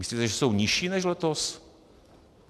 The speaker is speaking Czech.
Myslíte, že jsou nižší než letos?